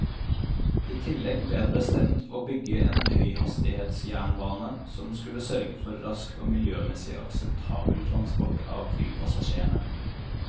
I tillegg ble det bestemt å bygge en høyhastighetsjernbane som skulle sørge for rask og miljømessig akseptabel transport av flypassasjerene.